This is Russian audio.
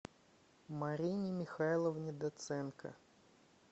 марине михайловне доценко